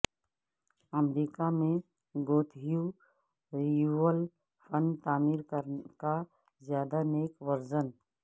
امریکہ میں Gothic revival فن تعمیر کا زیادہ نیک ورژن